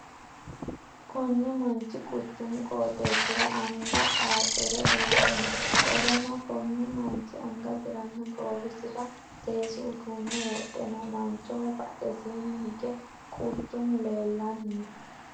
Kunni manchi quchumu qooxeesira anga xaaxire uure no. Qoleno kunni manchi angasiranna goowisira seesu uduune wodhe no. Manchoho badhesiinni hige quchumu leelanni no.